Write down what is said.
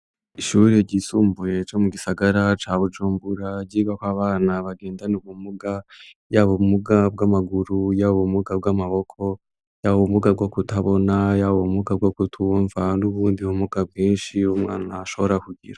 Ishuri ryisumbuye ryo mu gisagara ca bujumbura ,ryigako abana bagendana ubumuga: y'aba umuga bw'amaguru ,y'aba ubumuga bw'amaboko ,y'aba ubumuga bwo kutabona, y'aba ubumuga bwo kutumva ,n'ubundi bumuga bwinshi, umwana ashobora kugira.